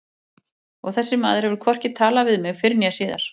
Og þessi maður hefur hvorki talað við mig fyrr né síðar.